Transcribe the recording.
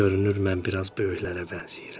Görünür, mən biraz böyüklərə bənzəyirəm.